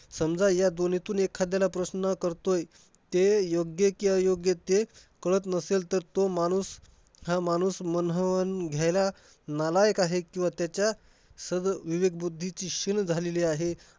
समजा ह्या दोन्हीतून एखाद्याला प्रश्न करतोय. ते योग्य कि अयोग्य ते कळत नसेल तर तो माणूस हा माणूस म्हणावून घ्यायला नालायक आहे किंवा त्याच्या सगळं विवेकबुद्धीची शील झालेली आहे.